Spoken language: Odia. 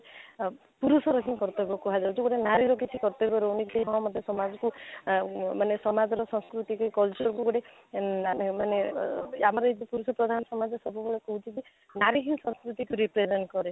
ଆଃ ପୁରୁଷର ହିଁ କର୍ତବ୍ୟ କୁହ ଯାଉଛି ଗୋଟେ ନାରୀର କିଛି କର୍ତବ୍ୟ ରହୁନି କି ହଁ ମୋତେ ସମାଜକୁ ଆଃ ମାନେ ସମାଜର ସଂସ୍କୃତି କି culture କୁ ଗୋଟେ ଏଁ ନାଇଁ ନାଇଁ ମାନେ ଅ ଆମର ଏଇ ଦେଶ ପ୍ରଧାନ ସମାଜ ସବୁବେଳେ କହୁଛି କି ନାରୀ ହିଁ ସଂକୃତି କୁ represent କରେ